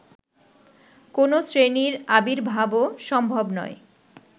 কোনো শ্রেণীর আবির্ভাবও সম্ভব নয়